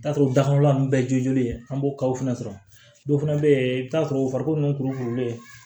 I bi t'a sɔrɔ dakɔnɔla nunnu bɛɛ jolen an b'o ka fana sɔrɔ dɔw fana be ye i bi t'a sɔrɔ o farikolo nunnu kurulen